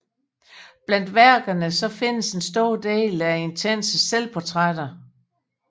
Blandt værkerne findes en stor del intense selvportrætter